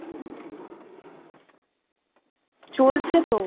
চলছে তো